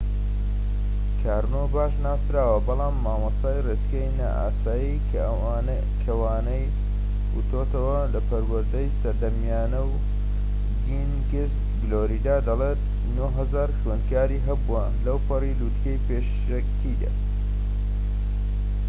کارنۆ باش ناسراوە بەڵام مامۆستای ڕێچکەی نائاسایی کە وانەی وتۆتەوە لە پەروەردەی سەردەمیانە و کینگس گلۆریدا، دەڵێت ٩٠٠٠ خوێندکاری هەبووە لەوپەڕی لوتکەی پیشەکەیدا